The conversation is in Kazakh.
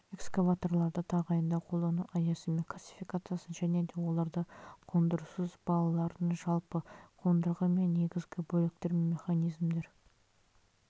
эксваваторларды тағайындау қолдану аясы мен классификациясын және де оларды қондырусыз балаларын жалпы қондырғы мен негізгі бөліктер мен механизмдер